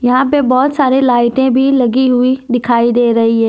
यहां पे बहुत सारे लाइटें भी लगी हुई दिखाई दे रही है।